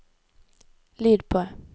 lyd på